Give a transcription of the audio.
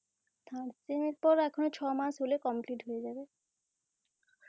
third sem এর পর এখনো ছ মাস হলে complete হয়ে যাবে.